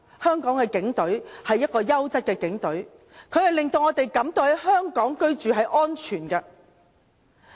香港警隊是優質的警隊，令我們感到在香港居住是安全的。